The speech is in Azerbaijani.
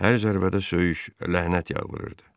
Hər zərbədə söyüş, lənət yağdırırdı.